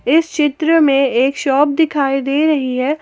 इस चित्र में एक शॉप दिखाई दे रही है।